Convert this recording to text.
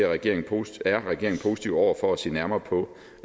regeringen positiv over for at se nærmere på